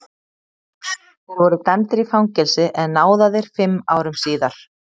Þeir voru dæmdir í fangelsi en náðaðir fimm árum síðar.